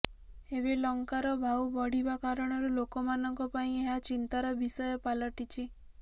ଏବେ ଲଙ୍କାର ଭାଉ ବଢିବା କାରଣରୁ ଲୋକମାନଙ୍କ ପାଇଁ ଏହା ଚିନ୍ତାର ବିଷୟ ପାଲଟିଛି